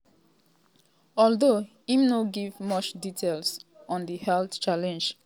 although im no give much details on di health challenge